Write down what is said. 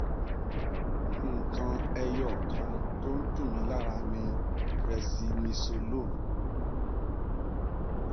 nǹkan ẹyọ kan tó ń tù mí lára ni presidnisolone